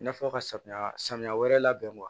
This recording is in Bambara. I n'a fɔ ka samiya samiya wɛrɛ labɛn